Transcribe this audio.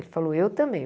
Ele falou, eu também.